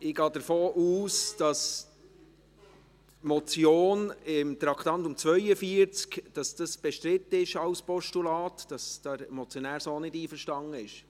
Ich gehe davon aus, dass die Motion unter Traktandum 42 als Postulat bestritten ist, dass der Motionär so nicht einverstanden ist.